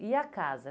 E a casa?